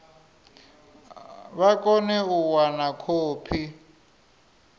vha kone u wana khophi